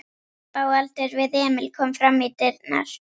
Stelpa á aldur við Emil kom fram í dyrnar.